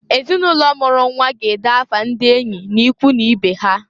Ezinụlọ mụrụ nnwa ga-ede afa ndị enyị n'ikwu n'ibe ha.